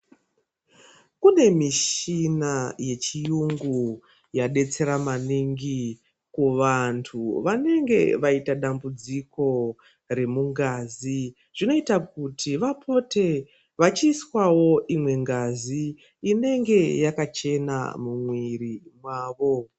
Kune mishina yechiyungu yadetsera maningi kuvanhu vanenge vaita dambudziko remungazi zvinoita kuti vapote vachiiswawo imwe ngazi inonge yakachena mumwiri mwavo.